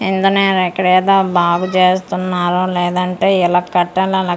Engineer ఇక్కడ ఏదో బాగు చేస్తున్నారు లేదంటే ఇలా కట్టలని అలా కట్టలని.